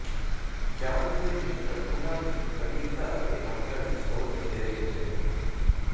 ਚਾਂਦ ਦੇ ਮਿਸ਼ਰਣ ਉਨ੍ਹਾਂ ਦੀ ਤੀਬਰਤਾ ਅਤੇ ਮਾਤਰਾ ਵਿਚ ਬਹੁਤ ਵੱਖਰੇ ਹੁੰਦੇ ਹਨ